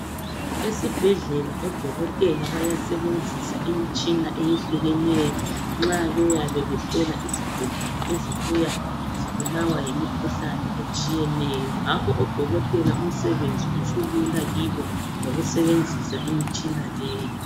Esibhedlela odokotela bayasebenzisa imitshina eyehlukeneyo nxa beyabe behlola izigulane ezibuya zibulawa yimikhuhlane etshiyeneyo ngakho odokotela umsebenzi usulula ngokusebenzisa imitshina leyi.